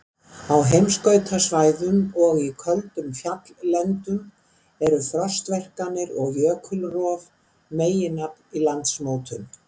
Á heimskautasvæðum og í köldum fjalllendum eru frostverkanir og jökulrof meginafl í landmótun.